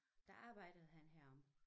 Der arbejdede han heroppe